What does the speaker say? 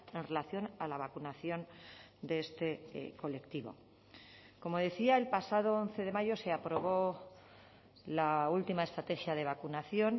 en relación a la vacunación de este colectivo como decía el pasado once de mayo se aprobó la última estrategia de vacunación